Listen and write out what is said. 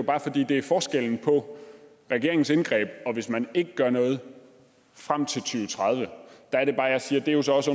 bare fordi det er forskellen på regeringens indgreb og hvis man ikke gør noget frem til to tusind og tredive og der er det bare jeg siger at det jo så også